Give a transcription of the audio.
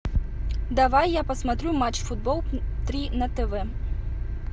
давай я посмотрю матч футбол три на тв